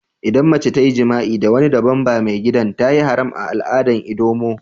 Idan mace ta yi jima'i da wani dabban da maigidan, ta yi haram a'aladan ldoma.